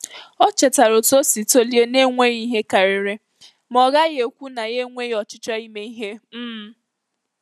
Ọ chetara otú o si tolie na-enweghị ihe karịrị, ma ọ gaghị ekwu na ya enweghị ọchịchọ ime ihe. um